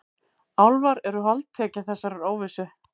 Álfar eru holdtekja þessarar óvissu.